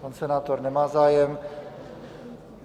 Pan senátor nemá zájem.